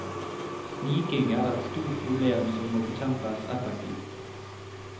Sniking er et stort problem som må bekjempes effektivt.